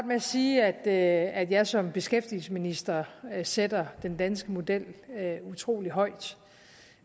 med at sige at jeg som beskæftigelsesminister sætter den danske model utrolig højt